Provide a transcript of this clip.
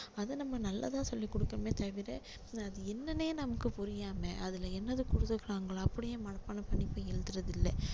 அதை நம்ம நல்லதா சொல்லி கொடுக்கணுமே தவிர அது என்னன்னே நமக்கு புரியாம அதுல என்னது கொடுத்திருக்காங்களோ அப்படியே மனப்பாடம் பண்ணி போய் எழுதுறது இல்ல